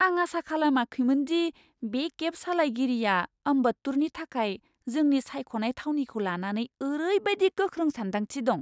आं आसा खालामाखैमोन दि बे केब सालायगिरिया अम्बत्तूरनि थाखाय जोंनि सायख'नाय थावनिखौ लानानै ओरैबायदि गोख्रों सान्दांथि दं!